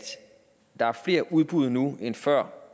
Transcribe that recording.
der er flere udbud nu end før